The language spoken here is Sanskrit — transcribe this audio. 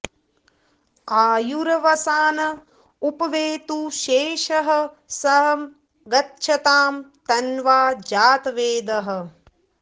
आयु॒र्वसा॑न॒ उप॑ वेतु॒ शेषः॒ सं ग॑च्छतां त॒न्वा॑ जातवेदः